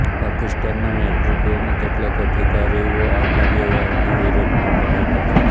પાકિસ્તાનના નેતૃત્વમાં કેટલાક અધિકારીઓ આ કાર્યવાહીના વિરોધમાં પણ હતા